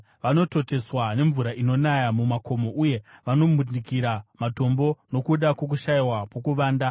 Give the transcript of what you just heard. Vanototeswa nemvura inonaya mumakomo, uye vanombundikira matombo nokuda kwokushayiwa pokuvanda.